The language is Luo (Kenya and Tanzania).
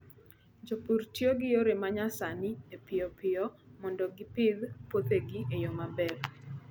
Jopur tiyo gi yore ma nyasani e piyo piyo mondo mi gipidh puothegi e yo maber.